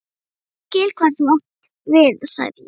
Ég skil, hvað þú átt við sagði ég.